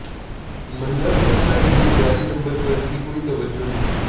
महिला सुरक्षा के लिए जारी नंबर पर भी कोई तवज्जो नहीं